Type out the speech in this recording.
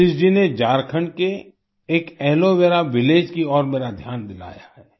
सतीश जी ने झारखंड के एक एलो वेरा विलेज की ओर मेरा ध्यान दिलाया है